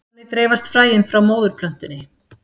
Þannig dreifast fræin frá móðurplöntunni.